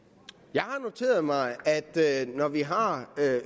jeg har noteret mig at når vi har